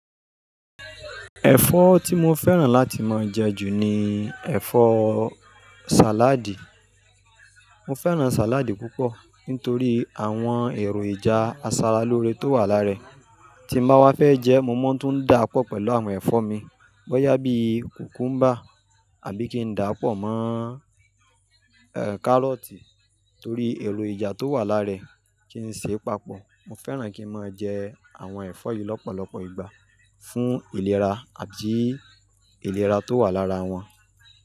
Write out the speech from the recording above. Ẹ̀fọ́ tí mo fẹ́ràn láti máa jẹ ju ni ẹ̀fọ́ sàládì. Mo fẹ́ràn sàládì púpọ̀ nítorí àwọn èrò ìjà aṣaralóore tó wà lára ẹ̀. Tí n bá wá fẹ́ jẹ, mo máa ń tún dà á pọ̀ pẹ̀lú àwọn ẹ̀fọ́ mi. Bóyá bí kùkúmbà àbí kí n dà á pọ̀ mọ, ehn, kárọ́tì torí èrò ìjà tó wà lára ẹ̀, kí n se papọ̀. Mo fẹ́ràn kí n máa jẹ àwọn ẹ̀fọ́ yìí lọ́pọ̀lọpọ̀ ìgbà fún ìlera àbí ìlera tó wà lára wọn.